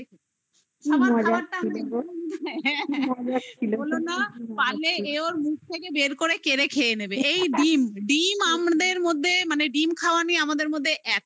খাবারটা পারলে এ ওর মুখে বের করে কেড়ে খেয়ে নেবে এই ডিম ডিম আমাদের মধ্যে মানে ডিম খাওয়া নিয়ে আমাদের মধ্যে এতো